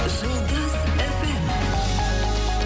жұлдыз фм